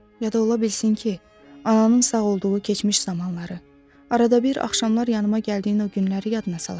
Ya da ola bilsin ki, ananın sağ olduğu keçmiş zamanları, arada bir axşamlar yanıma gəldiyin o günləri yadına salasan.